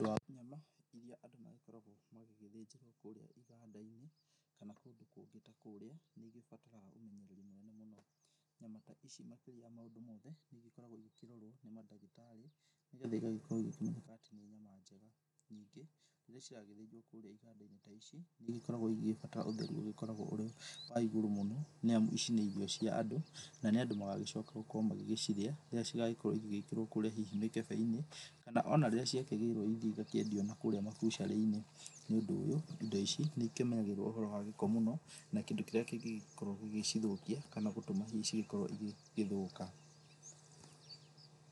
Nyama iria andũ magĩkoragwo magĩgĩthĩrwo kũrĩa igandaĩnĩ kana kũndũ kũngĩ ta kũrĩa nĩigĩbataraga ũmenyereri munene mũno. Nyama ta ici makĩrĩa ya maũndũ mothe nĩigikoragwo ĩkĩrorwo ni madagĩtarĩ nĩgetha ĩgagĩkorwo ĩgĩkioneka atĩ nĩ nyama njega nyĩngĩ rĩrĩa cĩragĩthĩnjwo kũrĩa igandaĩnĩ ta ici nĩigĩkoragwo ĩgĩgĩbatara ũtherũ ũgĩkoragwo ũrĩ wa ĩgũrũ mũno nĩamu ici nĩ irio cia andũ na nĩ andũ magagĩcoka gũkorwo magĩgĩcirĩa rĩrĩa cĩgagĩkorwo igĩgĩkĩrwo kũrĩa hihi mĩkebei-inĩ kana ona rĩrĩa ciakĩgĩrwo ĩthĩe ĩgakĩendĩo nakũrĩa mabucarĩinĩ nĩũndũ ũyũ, indo ici nĩikĩmenyagĩrĩrwo ũhoro wa gĩko mũno na kĩndũ kĩrĩa kĩngĩgĩkorwo gĩgĩcithũkia kana gũtũma hihi ĩgĩgĩkorwo ĩgĩgĩthũka.